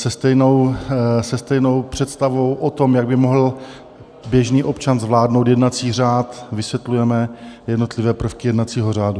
Se stejnou představou o tom, jak by mohl běžný občan zvládnout jednací řád, vysvětlujeme jednotlivé prvky jednacího řádu.